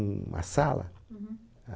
Uma sala